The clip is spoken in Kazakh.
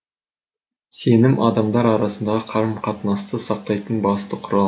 сенім адамдар арасындағы қарым қатынасты сақтайтын басты құрал